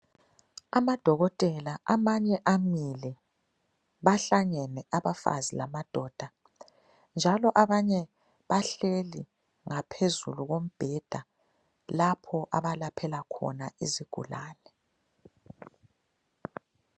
Amadokotela amanye amile, bahlangene abafazi lamadoda njalo abanye bahleli ngaphezulu kombheda lapho abalaphela khona izigulane.